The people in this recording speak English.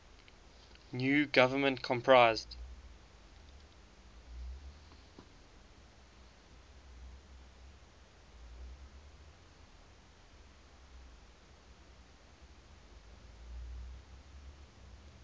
new government comprised